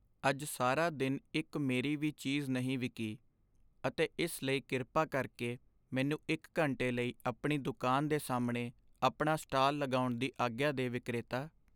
ਅੱਜ ਸਾਰਾ ਦਿਨ ਇੱਕ ਮੇਰੀ ਵੀ ਚੀਜ਼ ਨਹੀਂ ਵਿਕੀ ਅਤੇ ਇਸ ਲਈ ਕਿਰਪਾ ਕਰਕੇ ਮੈਨੂੰ ਇੱਕ ਘੰਟੇ ਲਈ ਆਪਣੀ ਦੁਕਾਨ ਦੇ ਸਾਹਮਣੇ ਆਪਣਾ ਸਟਾਲ ਲਗਾਉਣ ਦੀ ਆਗਿਆ ਦੇ ਵਿਕਰੇਤਾ